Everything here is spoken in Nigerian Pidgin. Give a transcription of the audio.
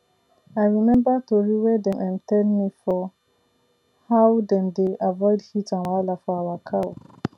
i remember tori wey dem um tell me for how dem dey avoid heat and wahala for our cow